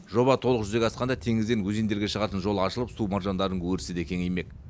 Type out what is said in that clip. жоба толық жүзеге асқанда теңізден өзендерге шығатын жол ашылып су маржандарының өрісі де кеңеймек